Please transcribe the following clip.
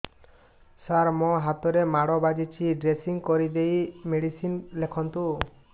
ସାର ମୋ ହାତରେ ମାଡ଼ ବାଜିଛି ଡ୍ରେସିଂ କରିଦେଇ ମେଡିସିନ ଲେଖନ୍ତୁ